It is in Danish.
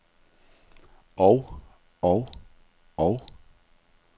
og og og